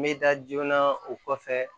N bɛ da joona o kɔfɛ